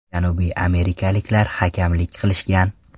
Janubiy amerikaliklar hakamlik qilishgan.